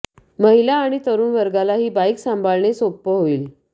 महिला आणि तरुण वर्गाला ही बाइक सांभाळणे सोपं होईल